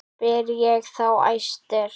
Spyr ég þá æstur.